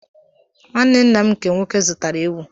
Nwanne ńnà m nke nwoke zụtara ewụ.